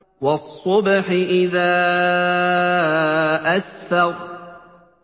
وَالصُّبْحِ إِذَا أَسْفَرَ